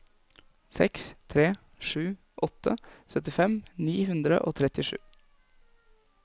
seks tre sju åtte syttifem ni hundre og trettisju